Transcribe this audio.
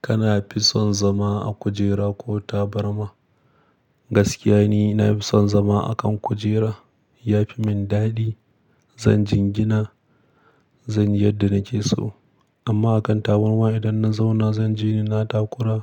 Kana fi son zama a kujera ko taɓarma? Gaskiya ni na fi son zama a kan kujera. Ya fi min daɗi. Zan jingina, zan yi yadda na ke so. Amma a kan taɓarrma idan na zauna zan jini na takura.